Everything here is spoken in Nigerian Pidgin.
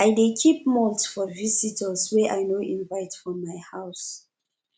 i dey keep malt for visitors wey i no invite for my house